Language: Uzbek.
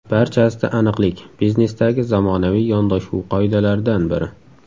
Barchasida aniqlik – biznesdagi zamonaviy yondashuv qoidalaridan biri.